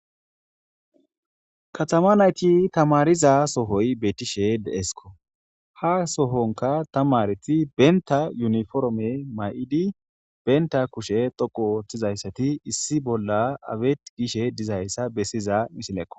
katama nayti tamariza sohoy betishe deesko ha sohonka tamareti benta yuniforme may'idi benta kushe dhoqu oothtizayssati issi bolla aweet gishe dizayssa bessiza misilekko.